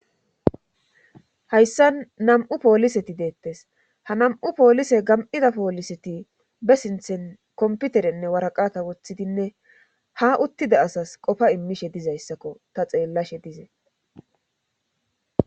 Hayssa nam7u pooliseti deettes ha nam7u poolise gam7ida pooliseti be sinthen komputerenne waraqata woththidinne ha uttida asas qofa immishe dizayssakko ta xeellashe dizee.